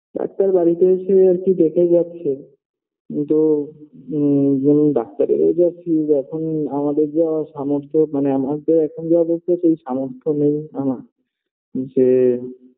doctor বাড়িতে এসে আর কি দেখে গেছে তো হুম doctor -এর ও যা fees এখন আমাদের যা সামর্থ্য মানে আমাদের এখন যা অবস্থা চোলছেসেই সামর্থ্য নেই আমার যে